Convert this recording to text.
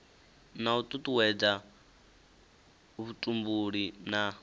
na u tutuwedza vhutumbuli na